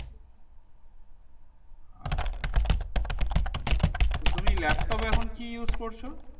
আচ্ছা আচ্ছা তো তুমি laptop এ এখন কি use করছো